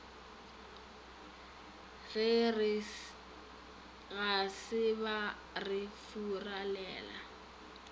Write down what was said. ga se ba re furalela